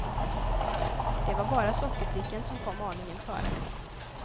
Det var bara sockerdrickan som kom aningen före.